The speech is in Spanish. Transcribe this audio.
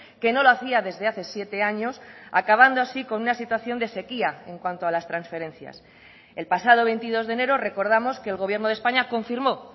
que no lo hacía desde hace siete años acabando así con una situación de sequía en cuanto a las transferencias el pasado veintidós de enero recordamos que el gobierno de españa confirmó